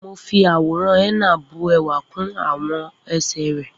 Mo fi àwòrán henna bu ẹwà kún àwọn ẹsẹ̀ rẹ